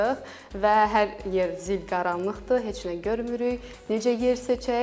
Və hər yer zil qaranlıqdır, heç nə görmürük, necə yer seçək.